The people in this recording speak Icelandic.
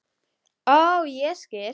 Ó, ég skil!